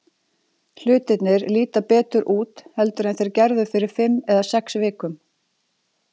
Hlutirnir líta betur út heldur en þeir gerðu fyrir fimm eða sex vikum.